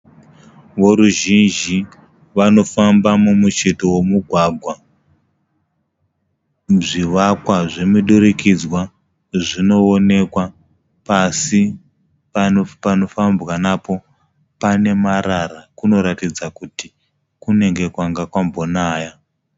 Voruzhizhi vanofamba mumucheto womugwagwa. Zvivakwa zvomidurikidzwa zvinovonekwa. Pasi panofambwa napo pane marara, kunoratidza kuti kunenge kwanga kwambonaya.